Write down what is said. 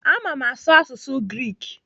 Ama m asụ asụsụ Greek.